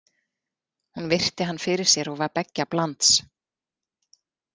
Hún virti hann fyrir sér og var beggja blands.